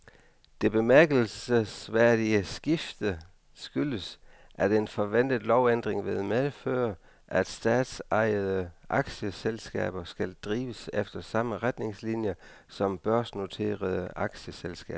Det bemærkelsesværdige skifte skyldes, at en forventet lovændring vil medføre, at statsejede aktieselskaber skal drives efter samme retningslinier som børsnoterede aktieselskaber.